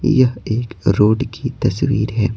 यह एक रोड की तस्वीर है।